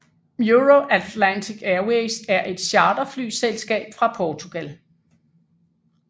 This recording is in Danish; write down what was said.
EuroAtlantic Airways er et charterflyselskab fra Portugal